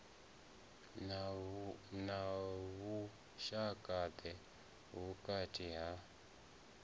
na vhushaka ḓe vhukati ha